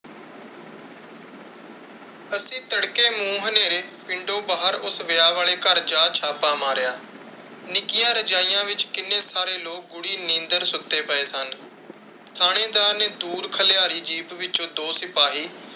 ਅਸੀਂ ਤੜਕੇ ਨੂੰ ਹਨੇਰੇ ਪਿੰਡੋਂ ਬਾਹਰ ਉਸ ਵਿਆਹ ਵਾਲੇ ਘਰ ਜਾ ਛਾਪਾ ਮਾਰਿਆ। ਨਿੱਕੀਆਂ ਰਜਾਈਆਂ ਵਿੱਚ ਕਿੰਨੇ ਸਾਰੇ ਲੋਕ ਗੂੜੀ ਨੀਂਦਰ ਸੁੱਤੇ ਪਏ ਸਨ। ਥਾਣੇਦਾਰ ਨੇ ਦੂਰ ਖਲਿਆਰੀ ਜੀਪ ਵਿੱਚੋਂ ਦੋ ਸਿਪਾਹੀ,